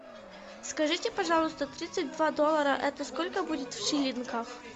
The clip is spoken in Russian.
скажите пожалуйста тридцать два доллара это сколько будет в шиллингах